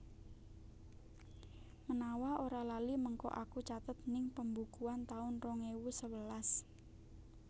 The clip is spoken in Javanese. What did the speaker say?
Menawa ora lali mengko aku catet ning pembukuan taun rong ewu sewelas